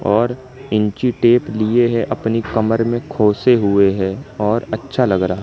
और इंची टेप लिए है अपनी कमर में खोसे हुए हैं और अच्छा लग रहा --